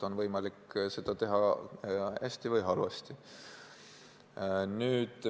On võimalik seda teha hästi või halvasti.